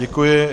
Děkuji.